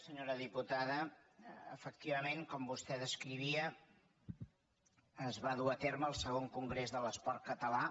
senyora diputada efectivament com vostè descrivia es va dur a terme el ii congrés de l’esport català